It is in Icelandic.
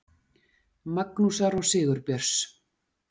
Magnúsar og Sigurbjörns.